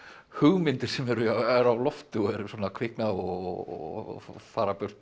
hugmyndir sem eru á lofti og kvikna og fara burt